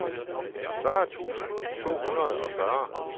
fyrre tusind to hundrede og fyrre